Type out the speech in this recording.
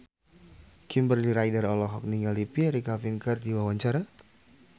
Kimberly Ryder olohok ningali Pierre Coffin keur diwawancara